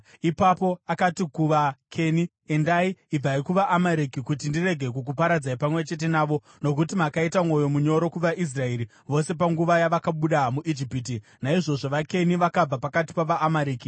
Ipapo akati kuvaKeni, “Endai, ibvai kuvaAmareki kuti ndirege kukuparadzai pamwe chete navo; nokuti makaita mwoyo munyoro kuvaIsraeri vose panguva yavakabuda muIjipiti.” Naizvozvo vaKeni vakabva pakati pavaAmareki.